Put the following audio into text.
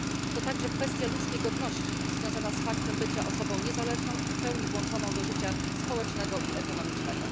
To także kwestia ludzkiej godności związana z faktem bycia osobą niezależną i w pełni włączoną do życia społecznego i ekonomicznego.